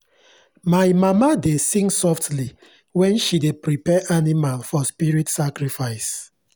my mama dey sing softly when she dey prepare animal for spirit sacrifice.